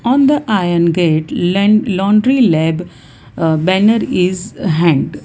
on the iron gate len laundry lab uh banner is hanged.